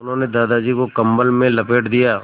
उन्होंने दादाजी को कम्बल में लपेट दिया